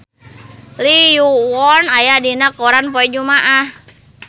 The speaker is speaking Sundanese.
Lee Yo Won aya dina koran poe Jumaah